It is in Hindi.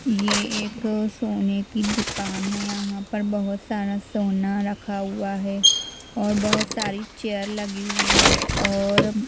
यह एक सोने की दुकान है यहां पर बहुत सारा सोना रखा हुआ है और बहुत सारी चेयर लगी हुई है और--